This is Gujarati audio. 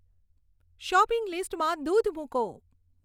શોપિંગ લીસ્ટમાં દૂધ મૂકો